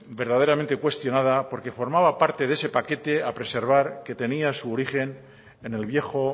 verdaderamente cuestionada porque formaba parte de ese paquete a preservar que tenía su origen en el viejo